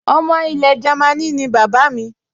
Ọmọ ilẹ̀ Jámínì ni bàbá mi